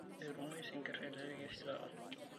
Metumoyu sinkirr teleleki oshi taata.